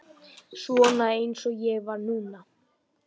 Svona eins og ég var núna.